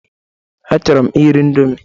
Achọrọ m iri ịndomi